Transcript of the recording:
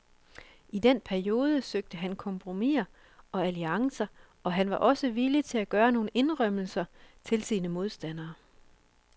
I denne periode søgte han kompromiser og alliancer, og han var også villig til at gøre nogle indrømmelser til sine modstandere.